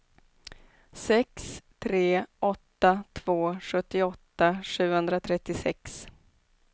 sex tre åtta två sjuttioåtta sjuhundratrettiosex